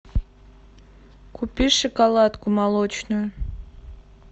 купи шоколадку молочную